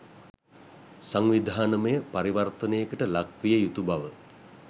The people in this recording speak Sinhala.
සංවිධානමය පරිවර්තනයකට ලක්විය යුතු බව